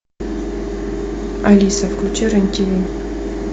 алиса включи рен тв